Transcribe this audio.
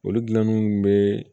Olu gilanni kun be